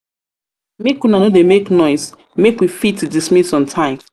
una no dey make noise make we fit dismiss on time.